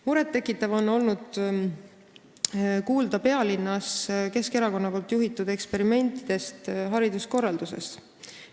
Muret tekitav on olnud kuulda Keskerakonna juhitud eksperimentidest pealinna hariduskorralduses.